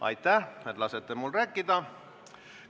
Aitäh, et lasete mul rääkida!